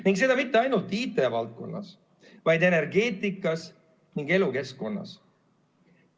Ning seda mitte ainult IT-valdkonnas, vaid ka energeetikas ning elukeskkonnas.